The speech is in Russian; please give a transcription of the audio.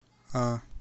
а